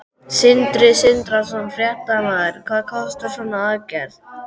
Sindri Sindrason, fréttamaður: Hvað kostar svona aðgerð?